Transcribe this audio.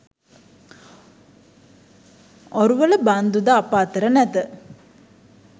ඔරුවල බන්දු ද අප අතර නැත